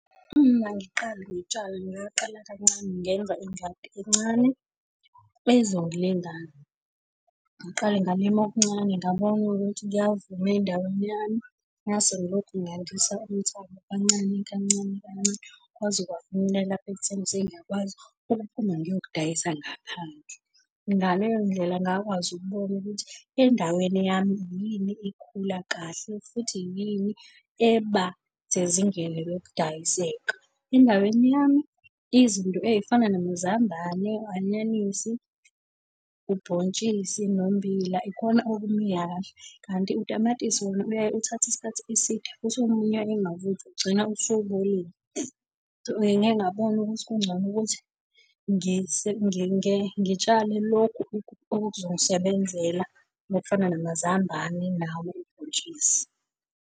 Uma ngiqala ngitshala ngaqala kancane ngenza ingadi encane, ezongilingana. Ngaqale ngalima okuncane ngabona ukuthi kuyavuma endaweni yami. Ngase ngilokhu ngandisa umthamo kancane kancane kancane kwaze kwafinyelela lapha ekutheni sengiyakwazi ukuphuma ngiyokudayisa ngaphandle. Ngaleyo ndlela ngakwazi ukubona ukuthi endaweni yami yini ikhula kahle, futhi yini eba sezingeni lokudayiseka. Endaweni yami izinto ey'fana namazambane, u-anyanisi, ubhontshisi, nommbila ikhona okumila kahle. Kanti utamatisi wona uyaye uthathe isikhathi eside futhi omunye ungavuthwa, ugcina usubolile. Ngiye ngabona ukuthi kungcono ukuthi ngitshale lokhu okuzongisebenzela okufana namazambane nawo ubhontshisi.